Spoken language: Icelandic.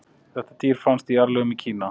þetta dýr fannst í jarðlögum í kína